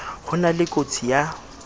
ho na le kotsi ya